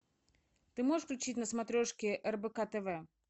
ты можешь включить на смотрешке рбк тв